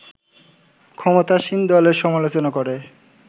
ক্ষমতাসীন দলের সমালোচনা করে